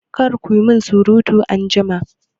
Kar ku min surutu a aji!